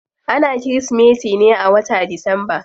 Ana kirismeti ne a wata disamba.